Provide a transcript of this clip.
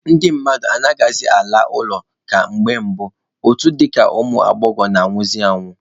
Ndị mmadụ anaghịkwa alazị ụlọ ka na mbụ, otu dịka nke ụmụ agbọghọ na-anwụzị anwụ.